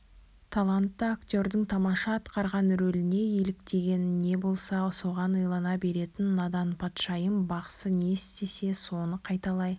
талантты актердың тамаша атқарған роліне еліктеген не болса соған илана беретін надан патшайым бақсы не істесе соны қайталай